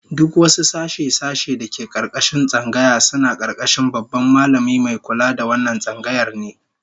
Duk wasu sashe-sashe da ke karkashin tsangaya suna karkashin Babban Mallami Mai kula da wannan tsangayar ne